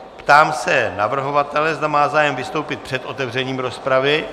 Ptám se navrhovatele, zda má zájem vystoupit před otevřením rozpravy.